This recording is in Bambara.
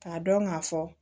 K'a dɔn k'a fɔ